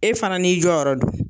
E fana n'i jɔ yɔrɔ don